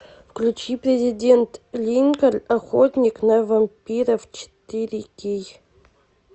включи президент линкольн охотник на вампиров четыре кей